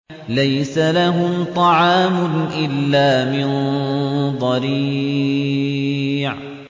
لَّيْسَ لَهُمْ طَعَامٌ إِلَّا مِن ضَرِيعٍ